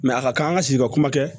a ka kan an ka sigi ka kuma kɛ